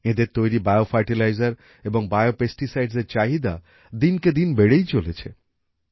এঁদের তৈরি bio fertiliser এবং বিও পেস্টিসাইডস এর চাহিদা দিনকে দিন বেড়েই চলেছে